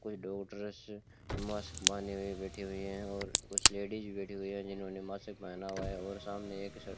कोई मास्क बंधे हुए बैठे हुए हैं और कुछ लेडिस बैठी हुई है जिन्होंने मास्क पहना हुआ है और सामने एक --